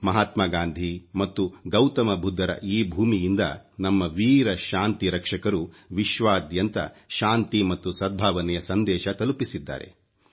ಮಹಾತ್ಮಾ ಗಾಂಧಿ ಮತ್ತು ಗೌತಮ ಬುದ್ಧರ ಈ ಭೂಮಿಯಿಂದ ನಮ್ಮ ವೀರ ಶಾಂತಿ ರಕ್ಷಕರು ವಿಶ್ವಾದ್ಯಂತ ಶಾಂತಿ ಮತ್ತು ಸದ್ಭಾವನೆಯ ಸಂದೇಶ ತಲುಪಿಸಿದ್ದಾರೆ